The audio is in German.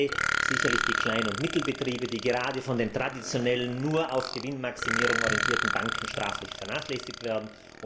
Punkt zwei betrifft sicherlich die kleinen und mittleren Betriebe, die gerade von den traditionellen, nur auf Gewinnmaximierung ausgerichteten Banken sträflich vernachlässigt werden.